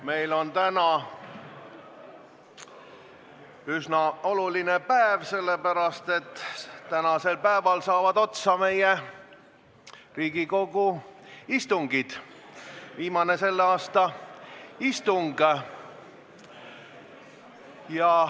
Meil on täna üsna oluline päev sellepärast, et täna saab otsa meie Riigikogu istungjärk, on viimane selle aasta istung.